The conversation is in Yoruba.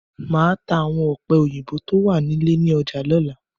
Màá ta àwọn ọ̀pẹ̀-òyìnbó tó wà nílé ní ọjà lọ́la.